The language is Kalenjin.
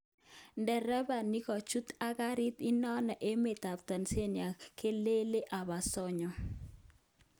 Derepa nikochut ak garit inano emet ap Tanzania kelele Obasanjo.